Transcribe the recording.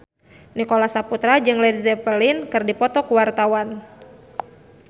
Nicholas Saputra jeung Led Zeppelin keur dipoto ku wartawan